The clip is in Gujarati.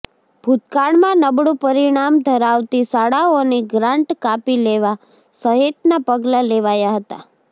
ભૂતકાળમાં નબળું પરિણામ ધરાવતી શાળાઓની ગ્રાન્ટ કાપી લેવા સહિતનાં પગલાં લેવાયા હતાં